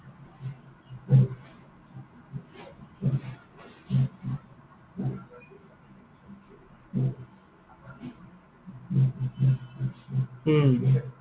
উম